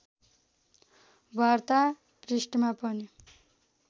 वार्ता पृष्ठमा पनि